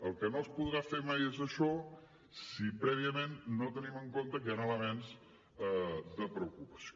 el que no es podrà fer mai és això si prèviament no tenim en compte que hi han elements de preocupació